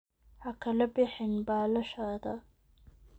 Ha kala bixin baalashaada